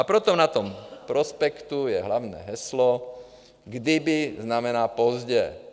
- A proto na tom prospektu je hlavní heslo: Kdyby znamená pozdě.